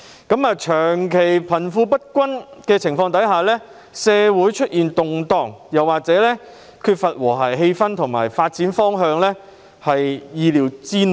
鑒於長期貧富不均，社會出現動盪、缺乏和諧氣氛或發展方向，實屬意料之內。